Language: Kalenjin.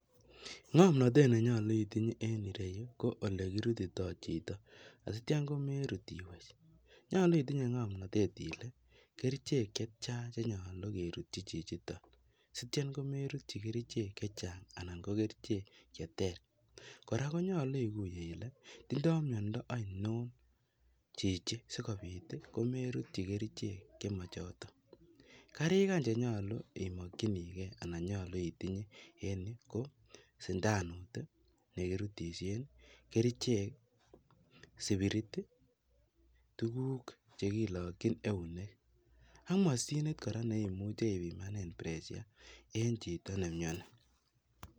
Ng'omnotet nenyolu itinye en ireyuu ko elekirutito chito, asityo komerut iwech, nyolu itinye ng'omnotet ilee kerichek chetian chenyolu kerutyi chichiton sit-in komerutyi kerichek chechang anan ko kerichek cheter, kora konyolu ikuye ilee tindo miondo ainon chichii sikobit komerutyi kerichek chemochoton, kariik any chenyolu imokyinikee anan nyolu itinye en yuu ko sindanut nekirutishen, kerichek, spirit, tukuk chekilokyin eunek ak moshinit neimuche kora ibimanen pressure en chito nemioni.